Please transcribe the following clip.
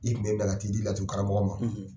I kun minɛ ka t'i di laturu karamɔgɔ ma,